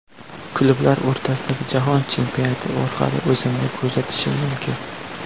Klublar o‘rtasidagi Jahon chempionati orqali o‘zimni ko‘rsatishim mumkin.